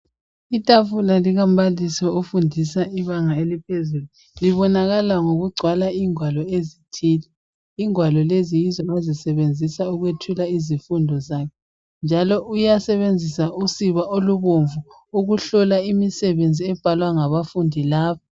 Itafula likambalisi ofundisa ibanga eliphezulu libonakala ngokugcwala ingwalo ezithile , ingwalo lezi yizo ozisebenzisa ukwethula izifundo zakhe, njalo uyasebenzisa usiba olubomvu ukuhlola imisebenzi ebhalwa ngabafundi laba.